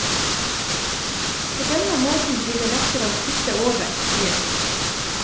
På denne måten blir det lettere å kutte over, sier hun.